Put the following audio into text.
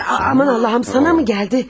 Aman Allahım, sənə mi gəldi?